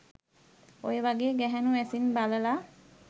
ඔය වගේ ගැහැනු ඇසින් බලලා